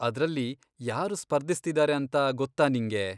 ಅದ್ರಲ್ಲಿ ಯಾರು ಸ್ಪರ್ಧಿಸ್ತಿದಾರೆ ಅಂತ ಗೊತ್ತಾ ನಿಂಗೆ?